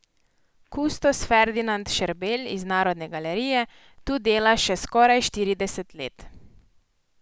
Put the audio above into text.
Kustos Ferdinand Šerbelj iz Narodne galerije tu dela še skoraj štirideset let.